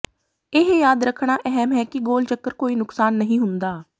ਇਹ ਯਾਦ ਰੱਖਣਾ ਅਹਿਮ ਹੈ ਕਿ ਗੋਲ ਚੱਕਰ ਕੋਈ ਨੁਕਸਾਨ ਨਹੀਂ ਹੁੰਦਾ